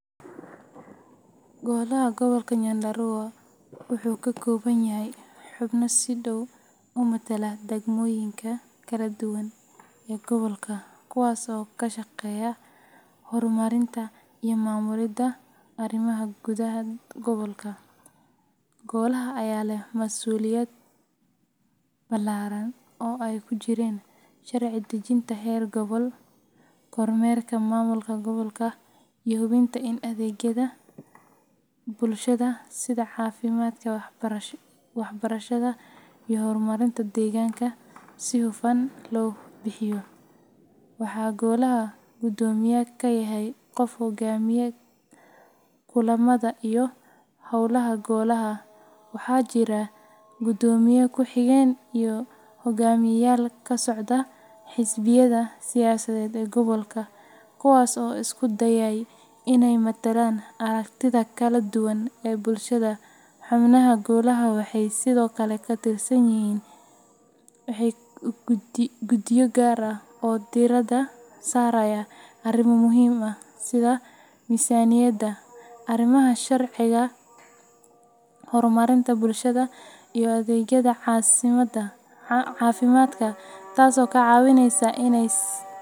Golaha Gobolka Nyandarua wuxuu ka kooban yahay xubno si dhow u matala degmooyinka kala duwan ee gobolka, kuwaas oo ka shaqeeya horumarinta iyo maamulidda arrimaha gudaha gobolka. Golaha ayaa leh masuuliyad ballaaran oo ay ku jiraan sharci dejinta heer gobol, kormeerka maamulka gobolka, iyo hubinta in adeegyada bulshada sida caafimaadka, waxbarashada, iyo horumarinta deegaanka si hufan loo bixiyo. Waxaa golaha guddoomiye ka yahay qof hogaamiya kulamada iyo hawlaha golaha, waxaana jira guddoomiye ku xigeen iyo hoggaamiyeyaal ka socda xisbiyada siyaasadeed ee gobolka, kuwaas oo isku dayaya inay matalaan aragtida kala duwan ee bulshada. Xubnaha golaha waxay sidoo kale ka tirsan yihiin guddiyo gaar ah oo diiradda saaraya arrimo muhiim ah sida miisaaniyadda, arrimaha sharciga, horumarinta bulshada, iyo adeegyada caafimaadka, taasoo ka caawisa inay ss.